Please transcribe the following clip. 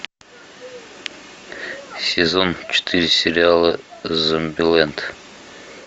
сезон четыре сериала зомбилэнд